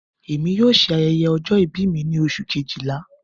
Emi yoo ṣe ayẹyẹ ọjọ-ibi mi ni Oṣu kejila